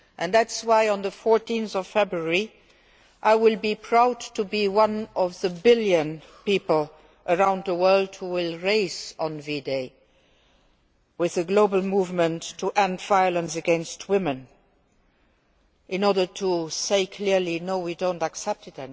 That is why on 14 February I will be proud to be one of the billion people around the world who will race on V Day as part of a global movement to end violence against women in order to say clearly that we no longer accept it